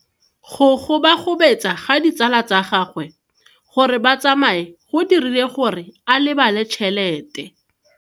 Go gobagobetsa ga ditsala tsa gagwe, gore ba tsamaye go dirile gore a lebale tšhelete.